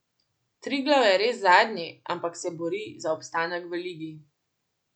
Triglav je res zadnji, ampak se bori za obstanek v ligi.